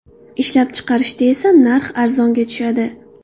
Ishlab chiqarishda esa narxi arzonga tushadi.